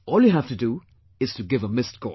All you have to do is to give a missed call